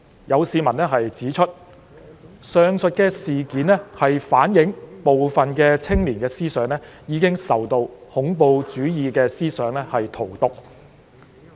有市民指出，上述事件反映部分青年的思想已受恐怖主義思想荼毒。